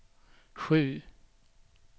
sju